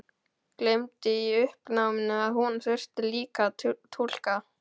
Gleymdi í uppnáminu að hún þurfti líka að túlka.